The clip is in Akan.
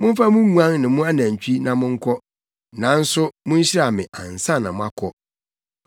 Momfa mo nguan ne mo anantwi na monkɔ. Nanso munhyira me ansa na moakɔ.”